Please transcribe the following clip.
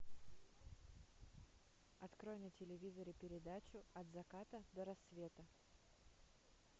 открой на телевизоре передачу от заката до рассвета